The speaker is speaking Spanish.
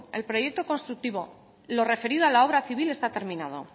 el proyecto constructivo lo referido a la obra civil está terminado